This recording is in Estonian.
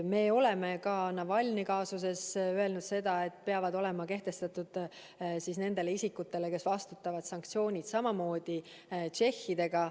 Me oleme ka Navalnõi kaasuses öelnud seda, et nendele isikutele, kes vastutavad, peavad olema kehtestatud sanktsioonid, samamoodi on Tšehhi puhul.